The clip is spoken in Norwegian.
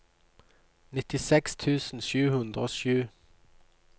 nittiseks tusen sju hundre og sju